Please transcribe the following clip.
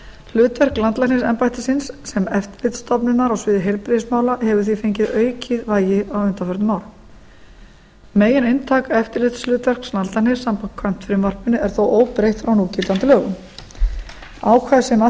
hlutverk landlæknisembættisins sem eftirlitsstofnunar á sviði heilbrigðismála hefur því fengið aukið vægi á undanförnum árum megininntak eftirlitshlutverks landlæknis samkvæmt frumvarpinu er þó óbreytt frá núgildandi lögum ákvæði sem að